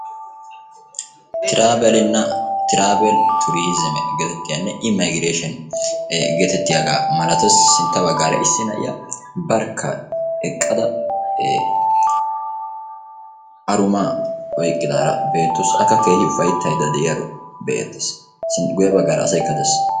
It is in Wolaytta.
Tiraavelina travel tourism geetettiyanne immigraation geetettiyaaga malatees. sintta bagaarakka isi na'iya eqaasu